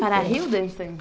Para?